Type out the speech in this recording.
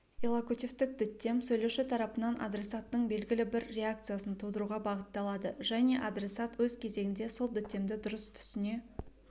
иллокутивтік діттем сөйлеуші тарапынан адресаттың белгілі бір реакциясын тудыруға бағытталады және адресат өз кезегінде сол діттемді дұрыс түсіне